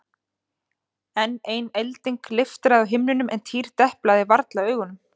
Enn ein elding leiftraði á himninum en Týri deplaði varla augunum.